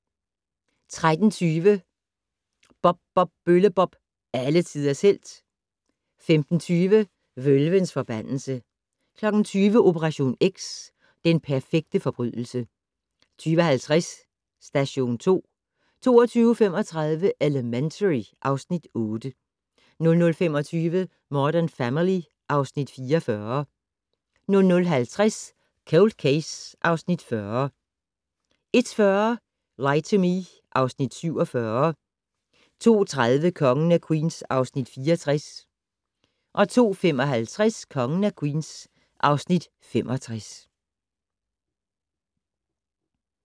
13:20: Bob Bob Bølle-Bob - alle tiders helt 15:20: Vølvens forbandelse 20:00: Operation X: Den perfekte forbrydelse 20:50: Station 2 22:35: Elementary (Afs. 8) 00:25: Modern Family (Afs. 44) 00:50: Cold Case (Afs. 40) 01:40: Lie to Me (Afs. 47) 02:30: Kongen af Queens (Afs. 64) 02:55: Kongen af Queens (Afs. 65)